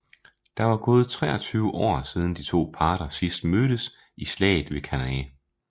Der var gået 23 år siden de to parter sidst mødtes i slaget ved Cannae